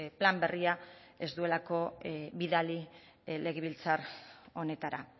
plan berria ez duelako bidali legebiltzar honetara